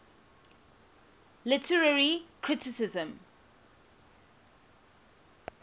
literary criticism